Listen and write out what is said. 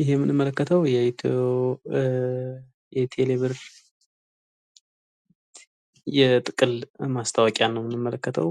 ይህ የምንመለከተው የቴሌ ብር የጥቅል ማስታወቂያን ነው የሚመለከተው።